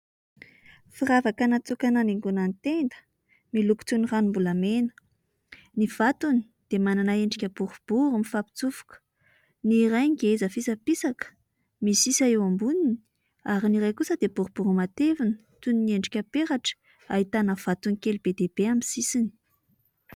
Firavaka natokana hanaingoana ny tenda miloko toy ny ranom-bolamena. Ny vatony dia manana endrika borobry mifampitsofoka. Ny iray ngeza fisapisaka misesy eo amboniny ary ny iray kosa dia boribory matevina toy ny endrika peratra, ahitana vatony kely be dia be eo amin'ny sisiny.